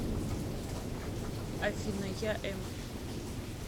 афина я эм